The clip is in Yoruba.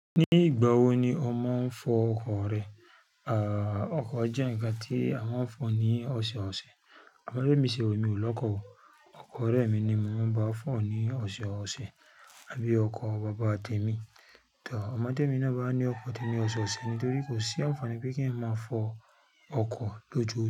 Ní ìgbà wo ni ọ máa ń fọ ọkọ̀ rẹ? Àà, ọkọ̀ jẹ́ ǹkan tí a máa ń fọ ní ọ̀sẹ̀ọ̀sẹ̀. Ọmọdẹ́mi ṣe emi ò lọkọ̀ o. Ọkọ̀ ọ̀rẹ́ mi ni mo máa ń bá fọ̀ ọ́ ní ọ̀sẹ̀ọ̀sẹ̀, àbí ọkọ̀ bàbá te mi. Tàbí tẹ́mi náà bá ní ọkọ̀, tẹ́mi ọ̀sẹ̀ọ̀sẹ̀ nítorí kò sí ànfàní bí kí ẹn máa fọ ọkọ̀ lójoo.